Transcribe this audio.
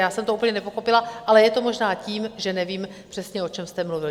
Já jsem to úplně nepochopila, ale je to možná tím, že nevím přesně, o čem jste mluvil.